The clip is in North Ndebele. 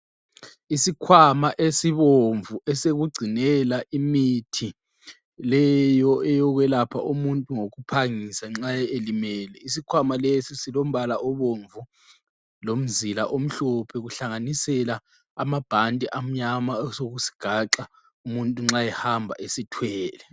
Isikhwama esibomvu esokugcinela imithi leyo eyokwelapha umuntu ngokuphangisa nxa elimele. Isikhwama lesi silombala obomvu lomzila omhlophe kuhlanganisela amabhanti amnyama okusigaxa umuntu nxa ehamba esithwele.